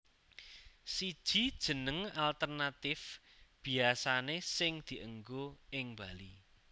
Siji Jeneng alternatif biasane sing dienggo ing Bali